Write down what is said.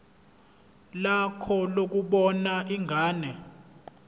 lakho lokubona ingane